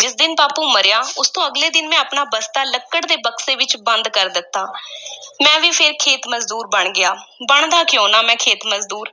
ਜਿਸ ਦਿਨ ਬਾਪੂ ਮਰਿਆ, ਉਸ ਤੋਂ ਅਗਲੇ ਦਿਨ ਮੈਂ ਆਪਣਾ ਬਸਤਾ ਲੱਕੜ ਦੇ ਬਕਸੇ ਵਿੱਚ ਬੰਦ ਕਰ ਦਿੱਤਾ ਮੈਂ ਵੀ ਫੇਰ ਖੇਤ-ਮਜ਼ਦੂਰ ਬਣ ਗਿਆ, ਬਣਦਾ ਕਿਉਂ ਨਾ, ਮੈਂ ਖੇਤ ਮਜ਼ਦੂਰ।